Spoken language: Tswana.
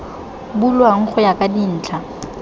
bulwang go ya ka dintlha